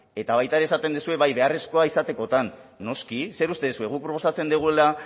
eta baita ere esaten duzue bai beharrezkoa izatekotan noski zer uste duzue guk proposatzen dugula